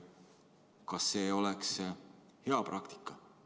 Kas see oleks hea praktika?